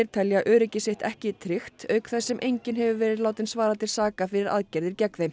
telja öryggi sitt ekki tryggt auk þess sem enginn hefur verið látinn svara til saka fyrir aðgerðir gegn þeim